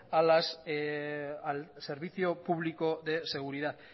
al servicio público de seguridad